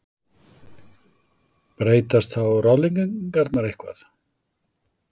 Breytast þá ráðleggingarnar eitthvað?